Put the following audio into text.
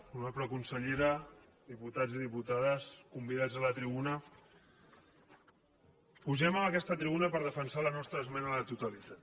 honorable consellera diputats i diputades convidats a la tribuna pugem a aquesta tribuna per defensar la nostra esmena a la totalitat